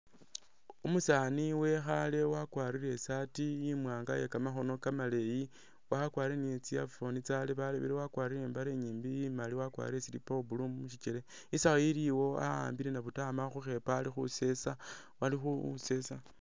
Umusaani wekhaale wakwarire i'saati imwaanga iye kamakhono kamaleeyi wakwarire ni tsi earphone tsyalebalebile wakwarire ni i'mbale inyimbi imali wakwarire slipper wa blue mu shikele. Isawu iliwo wa'ambile nabutama khukhepo ali khusesa.